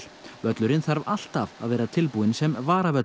völlurinn þarf alltaf að vera tilbúinn sem